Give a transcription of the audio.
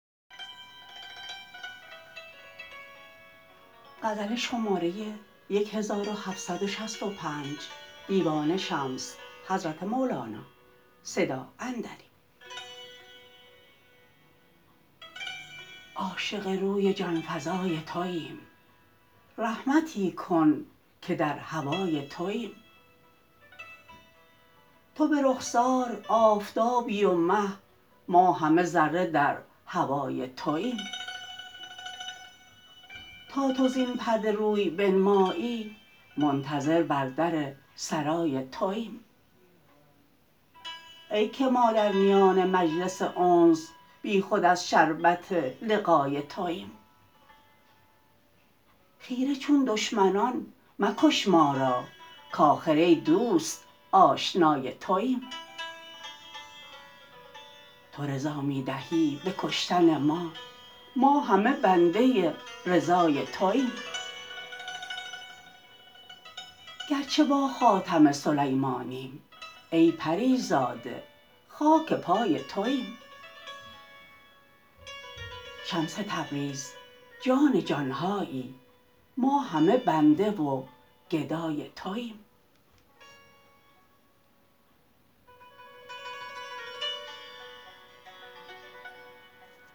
عاشق روی جان فزای توییم رحمتی کن که در هوای توییم تو به رخسار آفتابی و مه ما همه ذره در هوای توییم تا تو زین پرده روی بنمایی منتظر بر در سرای توییم ای که ما در میان مجلس انس بیخود از شربت لقای توییم خیره چون دشمنان مکش ما را کآخر ای دوست آشنای توییم تو رضا می دهی به کشتن ما ما همه بنده رضای توییم گرچه با خاتم سلیمانیم ای پری زاده خاک پای توییم شمس تبریز جان جان هایی ما همه بنده و گدای توییم